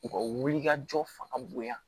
U ka wulikajɔ fanga bonya